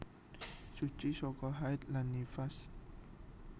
Suci saka haid lan nifas